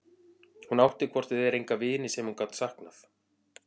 Hún átti hvort eð var enga vini sem hún gat saknað.